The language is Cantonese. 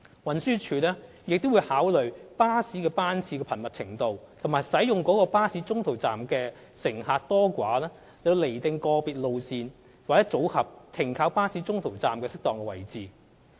運輸署亦會考慮巴士班次的頻密程度和使用該巴士中途站的乘客多寡，釐定個別路線/組合停靠巴士中途站的適當位置。